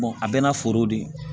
a bɛɛ n'a foro de ye